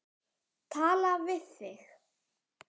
Tala við þig?